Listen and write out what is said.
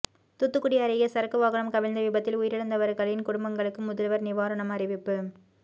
தூத்துக்குடி அருகே சரக்கு வாகனம் கவிழ்ந்த விபத்தில் உயிரிழந்தவர்களின் குடும்பங்களுக்கு முதல்வர் நிவாரணம் அறிவிப்பு